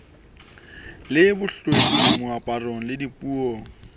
le bohlweki moaparong le dipuong